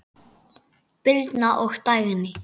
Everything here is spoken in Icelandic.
Birna og Dagný.